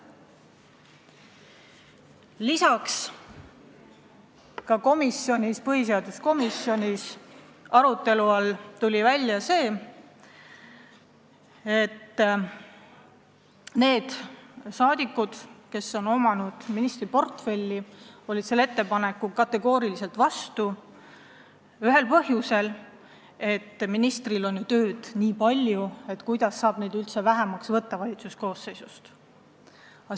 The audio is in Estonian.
Põhiseaduskomisjonis valitsuse koosseisu vähendamist arutades tuli välja, et need rahvasaadikud, kes on ministrina töötanud, olid sellele ettepanekule kategooriliselt vastu ühel põhjusel: ministritel on ju tööd nii palju, kuidas saab valitsuse koosseisu kärpida!?